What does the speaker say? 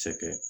Cɛkɛ